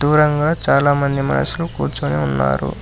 దూరంగా చాలామంది మనుషులు కూర్చొని ఉన్నారు.